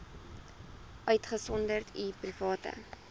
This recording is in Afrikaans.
uitgesonderd u private